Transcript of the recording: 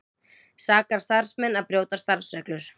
Sakar starfsmenn að brjóta starfsreglur